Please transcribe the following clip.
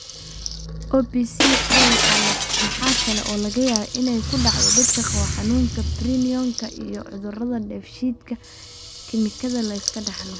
OPCA waxa kale oo laga yaabaa inay ku dhacdo dadka qaba xanuunka prion-ka iyo cudurrada dheef-shiid kiimikaadka la iska dhaxlo.